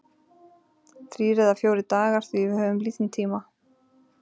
Þrír eða fjórir dagar því við höfum lítinn tíma.